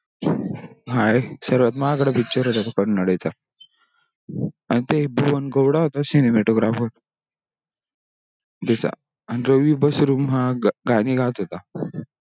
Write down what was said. हा हे सर्वात महागडा picture होता तो कांनाडा चा अन ते भुवन गौडा होता cinematographer त्याच आणि रवी बसरूम हा गाणे गात होता.